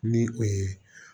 Ni o ye